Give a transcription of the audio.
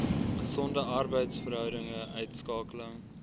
gesonde arbeidsverhoudinge uitskakeling